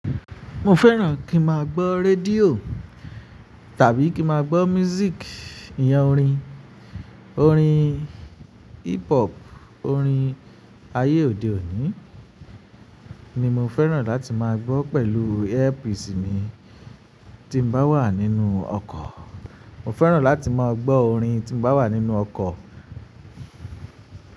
Mo fẹ́ràn kí ma gbọ́ rédíò tàbí kí ma gbọ́ music, iyan orin, orin hip hop, orin ayé òde òní ni mo fẹ́ràn láti máa gbọ́ pẹ̀lú earpiece mi tí n bá wà nínú ọkọ̀. Mo fẹ́ràn láti máa gbọ́ orin tí n bá wà nínú ọkọ̀